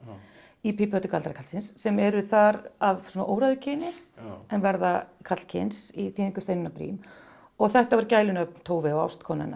í pípuhattur galdrakarlsins sem eru þar af óræðu kyni en verða karlkyns í þýðingu Steinunnar Briem og þetta voru gælunöfn Tove og ástkonu hennar